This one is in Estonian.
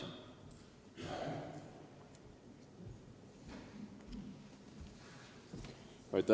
Jaak Madison.